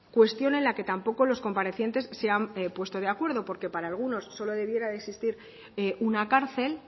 cuestión en la que tampoco los comparecientes se han puesto de acuerdo porque para algunos solo debiera de existir una cárcel